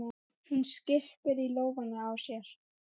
Mæðgurnar ræddu þessi mál fram og aftur.